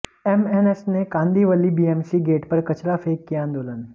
MNS ने Kandivali BMC gate पर कचरा फेंक किया आंदोलन